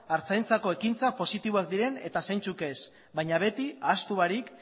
artzaintzako ekintza positiboak diren eta zeintzuk ez baina beti ahaztu barik